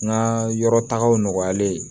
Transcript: N ka yɔrɔ tagaw nɔgɔyalen